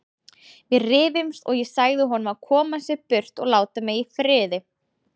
Við rifumst og ég sagði honum að koma sér burt og láta mig í friði.